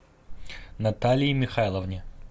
наталии михайловне